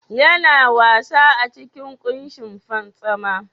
Yana wasa a cikin kushin fantsama?